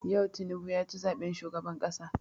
Yau Tinubu ya ci zaben shugaban ƙasa.